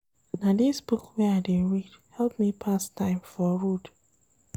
Na dis book wey I dey read help me pass time for road.